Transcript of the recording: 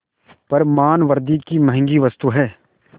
पर मानवृद्वि की महँगी वस्तु है